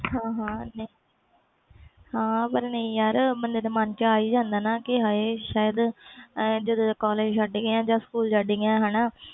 ਹਾਂ ਹਾਂ ਯਾਰ ਪਰ ਬੰਦੇ ਦੇ ਮਨ ਵਿਚ ਆ ਹੀ ਜਾਂਦਾ ਨਾ ਕਿ ਸ਼ਾਇਦ school ਛੱਡ ਗਏ ਜਾ collage